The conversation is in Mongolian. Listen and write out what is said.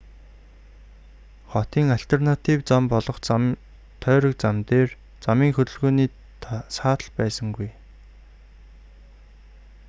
хотын альтернатив зам болох тойрог зам дээр замын хөдөлгөөний саатал байсангүй